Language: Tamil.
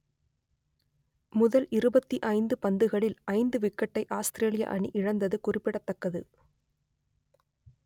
முதல் இருபத்தி ஐந்து பந்துகளில் ஐந்து விக்கெட்டை ஆஸ்திரேலிய அணி இழந்தது குறிப்பிடத்தக்கது